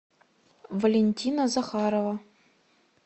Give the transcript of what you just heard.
валентина захарова